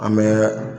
An bɛ